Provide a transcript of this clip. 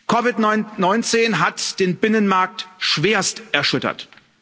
COVID 19 hat den Binnenmarkt schwerst erschüttert.